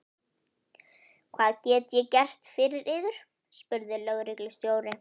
Hvað get ég gert fyrir yður? spurði lögreglustjóri.